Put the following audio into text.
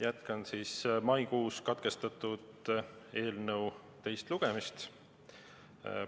Jätkan maikuus katkestatud eelnõu teist lugemist.